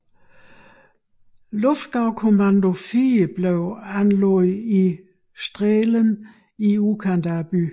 Luftgaukommando IV blev anlagt i Strehlen i udkanten af byen